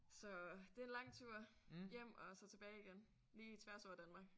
Så det er en langtur hjem og så tilbage igen. Lige tværs over Danmark